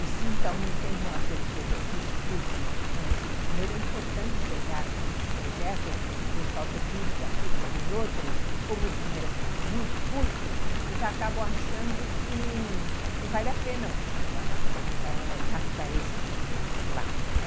E se então não tem uma pessoa que explique, não, esse dinheiro é importante ser gasto nesse projeto por causa disso, daquilo, daquele outro, como o dinheiro é sempre muito curto, eles acabam achando que não vale a pena ãh ãh gastar esse dinheiro lá, né?